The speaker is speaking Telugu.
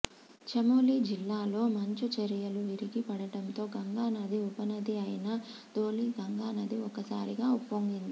చమోలీ జిల్లాలో మంచు చరియలు విరిగి పడడంతో గంగా నది ఉపనది అయిన ధౌలి గంగా నది ఒక్కసారిగా ఉప్పొంగింది